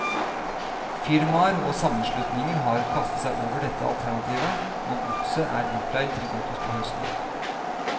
Firmaer og sammenslutninger har kastet seg over dette alternativet, og godset er bortleid til godt utpå høsten.